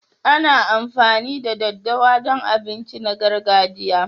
Ana amfani da ɗaddawa don abinci na gargajiya.